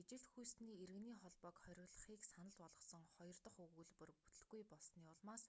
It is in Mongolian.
ижил хүйстэний иргэний холбоог хориглохыг санал болгосон хоёр дахь өгүүлбэр бүтэлгүй болсоны улмаас